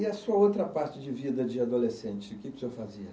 E a sua outra parte de vida de adolescente, o que que o senhor fazia?